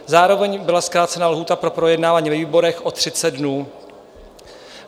Zároveň byla zkrácena lhůta pro projednávání ve výborech o 30 dnů.